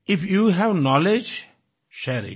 if you have knowledge share इत